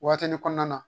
Waatinin kɔnɔna na